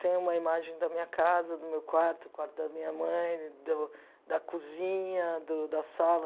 Tenho uma imagem da minha casa, do meu quarto, do quarto da minha mãe, do da cozinha, do da sala.